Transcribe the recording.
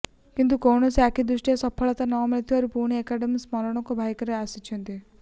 କିନ୍ତୁ କୌଣସି ଆଖିଦୃଶିଆ ସଫଳତା ନ ମିଳିବାରୁ ପୁଣି ଡ଼ିଏମକେ ଶରଣକୁ ଭାଇକୋ ଆସିଛନ୍ତି